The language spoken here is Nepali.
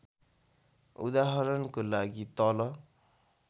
उदाहरणको लागि तल